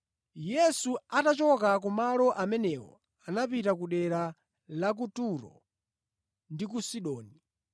Yesu atachoka kumalo amenewo anapita kudera la ku Turo ndi ku Sidoni.